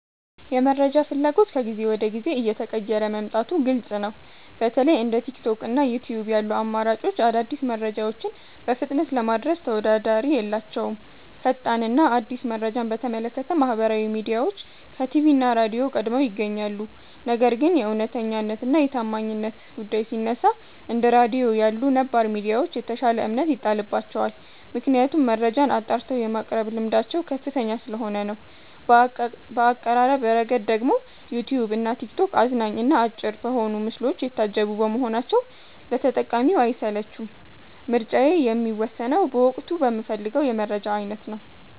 የመረጃ ፍላጎት ከጊዜ ወደ ጊዜ እየተቀየረ መምጣቱ ግልጽ ነው። በተለይ እንደ ቲክቶክ እና ዩትዩብ ያሉ አማራጮች አዳዲስ መረጃዎችን በፍጥነት ለማድረስ ተወዳዳሪ የላቸውም። ፈጣን እና አዲስ መረጃን በተመለከተ ማህበራዊ ሚዲያዎች ከቲቪ እና ራድዮ ቀድመው ይገኛሉ። ነገር ግን የእውነተኛነት እና የታማኝነት ጉዳይ ሲነሳ፣ እንደ ራድዮ ያሉ ነባር ሚዲያዎች የተሻለ እምነት ይጣልባቸዋል። ምክንያቱም መረጃን አጣርተው የማቅረብ ልምዳቸው ከፍተኛ ስለሆነ ነው። በአቀራረብ ረገድ ደግሞ ዩትዩብ እና ቲክቶክ አዝናኝ እና አጭር በሆኑ ምስሎች የታጀቡ በመሆናቸው ለተጠቃሚው አይሰለቹም። ምርጫዬ የሚወሰነው በወቅቱ በምፈልገው የመረጃ አይነት ነው።